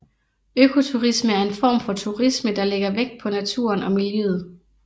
Økoturisme er en form for turisme der lægger vægt på naturen og miljøet